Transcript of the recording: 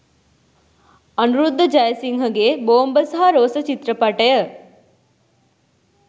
අනුරුද්ධ ජයසිංහගේ ‘‘බෝම්බ සහ රෝස’’චිත්‍රපටය